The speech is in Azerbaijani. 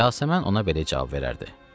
Yasəmən ona belə cavab verərdi: